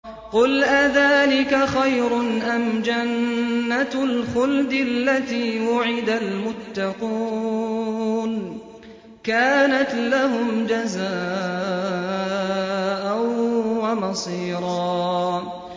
قُلْ أَذَٰلِكَ خَيْرٌ أَمْ جَنَّةُ الْخُلْدِ الَّتِي وُعِدَ الْمُتَّقُونَ ۚ كَانَتْ لَهُمْ جَزَاءً وَمَصِيرًا